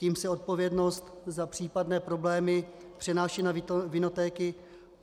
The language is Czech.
Tím se odpovědnost za případné problémy přenáší na vinotéky.